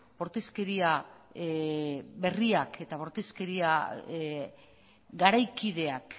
bortizkeria berriak eta bortizkeria garaikideak